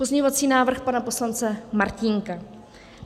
Pozměňovací návrh pana poslance Martínka.